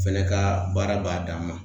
Fɛnɛ ka baara b'a dan ma